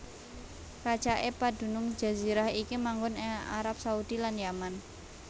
Racaké padunung jazirah iki manggon ing Arab Saudi lan Yaman